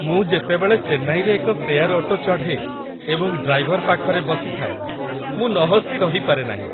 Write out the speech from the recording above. ମୁଁ ଯେତେବେଳେ ଚେନ୍ନାଇରେ ଏକ ସେୟାର୍ ଅଟୋ ଚଢ଼େ ଏବଂ ଡ୍ରାଇଭର ପାଖରେ ବସିଥାଏ, ମୁଁ ନହସି ରହିପାରେ ନାହିଁ।